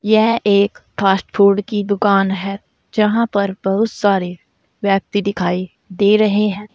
यह एक fast food की दुकान है जहां पर बहुत सारे व्यक्ति दिखाई दे रहे हैं।